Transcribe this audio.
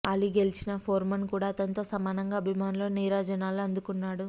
అలీ గెలిచినా ఫోర్మన్ కూడా అతనితో సమానంగా అభిమానుల నీరాజనాలు అందుకున్నాడు